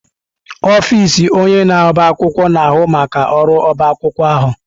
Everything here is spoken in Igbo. Ọfịs onye na-ọbá akwụkwọ na-ahụ maka ọrụ ọbá akwụkwọ ahụ.